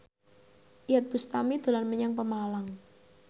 Iyeth Bustami dolan menyang Pemalang